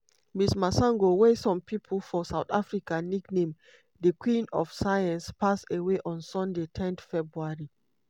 ms masango wey some pipo for south africa nickname "di queen of science" pass away on sunday ten february.